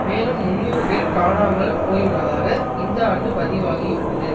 மேலும் முன்னூறு பேர் காணாமல் போயுள்ளதாக இந்த ஆண்டு பதிவாகியுள்ளது